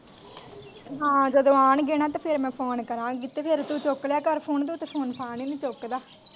ਹਾਂ ਜਦੋਂ ਅਣਗੇ ਨਾ ਤੇ ਫੇਰ ਮੈਂ phone ਕਰਾਂਗੀ ਤੇ ਤੂੰ ਫੇਰ ਚੁੱਕ ਲਿਆ ਕਰ phone ਫਾਂ ਹੀਣੀ ਚੁੱਕਦਾ।